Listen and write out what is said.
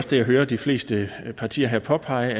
det jeg hører de fleste partier her påpege